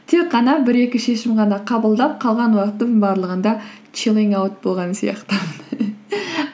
тек қана бір екі шешім ғана қабылдап қалған уақытымның барлығында чиллинг аут болған сияқтымын